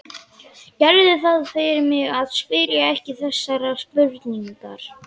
Gerðu það fyrir mig að spyrja ekki þessarar spurningar